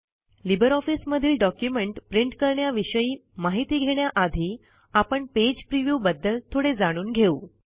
Libre ऑफिसमधील document print करण्याविषयी माहिती घेण्याआधी आपण पेज प्रिव्ह्यू बद्दल थोडे जाणून घेऊ